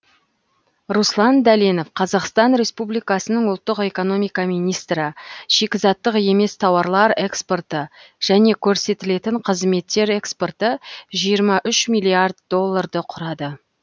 руслан дәленов қазақстан республикасының ұлттық экономика министрі шикізаттық емес тауарлар экспорты және көрсетілетін қызметтер экспорты жиырма үш миллиард долларды құрады